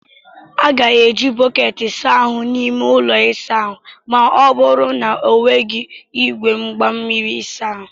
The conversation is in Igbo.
A ga-eji bọket saa ahu n'ime ụlọ ịsa ahụ ma ọ bụrụ na ọ n'weghị igwe mgbamiri ịsa ahụ.